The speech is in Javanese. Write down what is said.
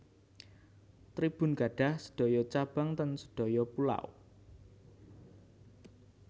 Tribun gadhah sedoyo cabang ten sedoyo pulau